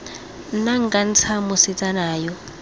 nna nka ntsha mosetsana yo